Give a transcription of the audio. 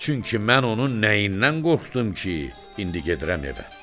Çünki mən onun nəyindən qorxdum ki, indi gedirəm evə?